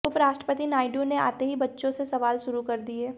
उप राष्ट्रपति नायडू ने आते ही बच्चों से सवाल शुरू कर दिये